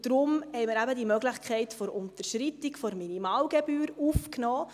Deshalb haben wir eben die Möglichkeit der Unterschreitung der Minimalgebühr aufgenommen.